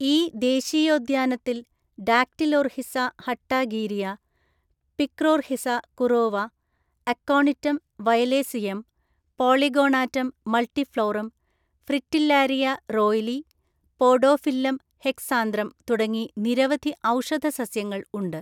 ഈ ദേശീയോദ്യാനത്തിൽ ഡാക്ടിലോർഹിസ ഹട്ടാഗീരിയ, പിക്രോർഹിസ കുറോവ, അക്കോണിറ്റം വയലേസിയം, പോളിഗോണാറ്റം മൾട്ടിഫ്ലോറം, ഫ്രിറ്റില്ലാരിയ റോയ്ലി, പോഡോഫില്ലം ഹെക്സാന്ദ്രം തുടങ്ങി നിരവധി ഔഷധ സസ്യങ്ങൾ ഉണ്ട്.